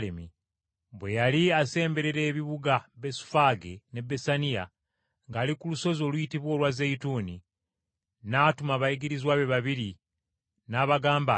Bwe yali asemberera ebibuga Besufaage ne Besaniya ng’ali ku lusozi oluyitibwa olwa Zeyituuni, n’atuma abayigirizwa be babiri n’abagamba nti,